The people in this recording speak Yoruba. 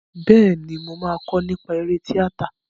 Bẹ́ẹ̀ni, mo máa kọ́ nípa eré tíátà.